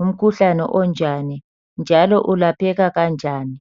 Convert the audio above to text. ngumkhuhlane onjani njalo ulapheka kanjani.